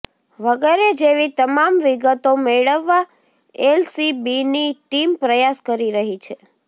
વગેરે જેવી તમામ વિગતો મેળવવા એલસીબીની ટીમ પ્રયાસ કરી રહી છે